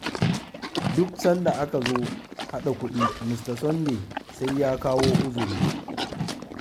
Duk sanda aka zo haɗa kuɗi Mr. Sunday sai ya kawo uzuri.